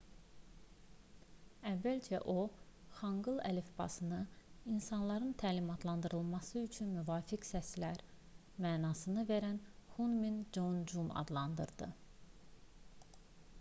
əvvəlcə o xanqıl əlifbasını insanların təlimatlandırılması üçün müvafiq səslər mənasını verən hunmin jeongeum adlandırdı